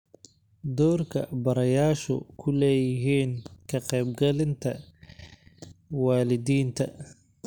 Doorka Barayaashu ku Leeyihiin Ka Qaybgelinta Waalidiinta